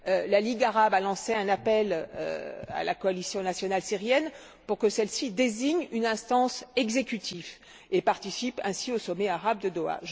La Ligue arabe a lancé un appel à la Coalition nationale syrienne pour que celle ci désigne une instance exécutive et participe ainsi au Sommet arabe de Doha.